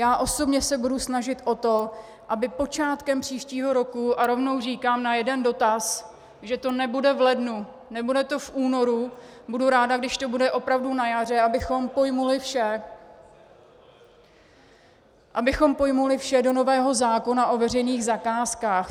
Já osobně se budu snažit o to, aby počátkem příštího roku, a rovnou říkám na jeden dotaz, že to nebude v lednu, nebude to v únoru, budu ráda, když to bude opravdu na jaře, abychom pojali vše, abychom pojali vše do nového zákona o veřejných zakázkách.